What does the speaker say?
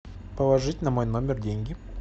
положить на мой номер деньги